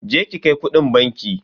Je ki ki kai kudin banki.